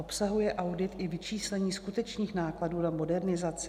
Obsahuje audit i vyčíslení skutečných nákladů na modernizaci?